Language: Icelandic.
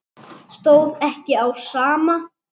Stóð ekki á sama.